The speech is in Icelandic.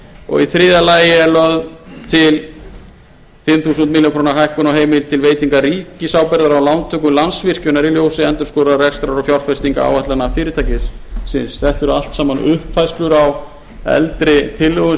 og í þriðja lagi er lögð til fimm þúsund milljónir króna hækkun á heimild til veitingar ríkisábyrgðar á lántöku landsvirkjunar í ljósi endurskoðaðrar rekstrar og fjárfestingaráætlana fyrirtækisins þetta eru allt saman uppfærslur á eldri tillögum